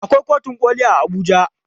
Akwai kotun koli a Abuja.